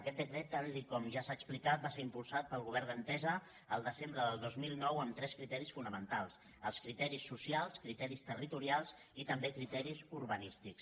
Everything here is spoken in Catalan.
aquest decret tal com ja s’ha explicat va ser impulsat pel govern d’entesa el de·sembre de dos mil nou amb tres criteris fonamentals els cri·teris socials els criteris territorials i també criteris ur·banístics